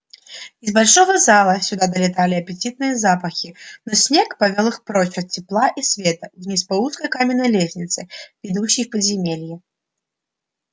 из большого зала сюда долетали аппетитные запахи но снегг повёл их прочь от тепла и света вниз по узкой каменной лестнице ведущей в подземелья